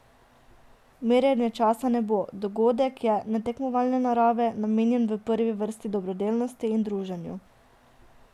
Merjenja časa ne bo, dogodek je netekmovalne narave, namenjen v prvi vrsti dobrodelnosti in druženju.